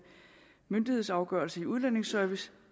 myndighedsafgørelse i udlændingeservice